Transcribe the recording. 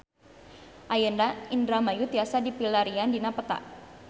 Ayeuna Indramayu tiasa dipilarian dina peta